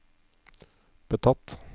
betatt